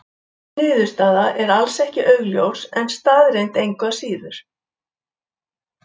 Þessi niðurstaða er alls ekki augljós en staðreynd engu að síður.